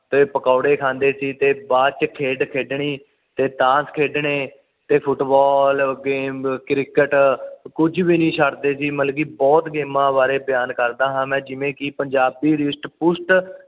ਤੇ ਪਕੌੜੇ ਖਾਂਦੇ ਸੀ ਤੇ ਬਾਚ ਖੇਡ ਖੇਡਣੀ ਤੇ ਤਾਸ਼ ਖੇਡਣੇ ਤੇ ਫ਼ੁਟਬਾਲ ਗੇਂਦ ਕ੍ਰਿਕਟ ਕੁਝ ਵੀ ਨਹੀਂ ਛੱਡਦੇ ਸੀ ਮਤਲਬ ਕਿ ਬੁਹਤ ਗੇਮਾਂ ਬਾਰੇ ਬਿਆਨ ਕਰਦਾ ਹਾ ਮੈਂ ਜਿਵੇਂ ਕਿ ਪੰਜਾਬੀ ਰਿਸ਼ਟ ਪੁਸ਼ਟ